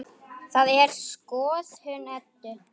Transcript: Það er skoðun Eddu.